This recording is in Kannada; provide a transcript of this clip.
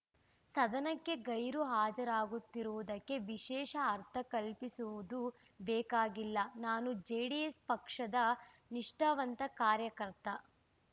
ಸದನಕ್ಕೆ ಗೈರು ಹಾಜರಾಗುತ್ತಿರುವುದಕ್ಕೆ ವಿಶೇಷ ಅರ್ಥ ಕಲ್ಪಿಸುವುದು ಬೇಕಾಗಿಲ್ಲ ನಾನು ಜೆಡಿಎಸ್‌ ಪಕ್ಷದ ನಿಷ್ಠಾವಂತ ಕಾರ್ಯಕರ್ತ